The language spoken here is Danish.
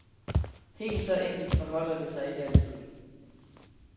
Helt så enkelt forholder det sig ikke altid.